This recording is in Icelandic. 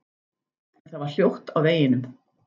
En það var hljótt á veginum.